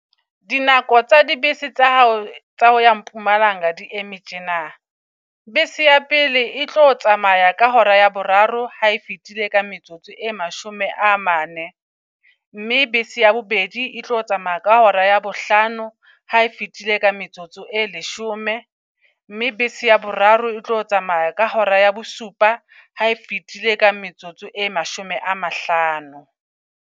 Di nako tsa di bese tsa hao tsa ho ya Mpumalanga di eme tjena. Bese ya pele e tlo tsamaya ka hora ya boraro ha e fitile ka metsotso e mashome a mane. Mme bese ya bobedi e tlo tsamaya ka hora ya bohlano ha e fitile ka metsotso e leshome. Mme bese ya boraro e tlo tsamaya ka hora ya bosupa ha e fitile ka metsotso e mashome a mahlano.